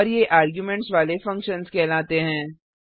और ये आर्गुमेंट्स वाले फंक्शन्स कहलाते हैं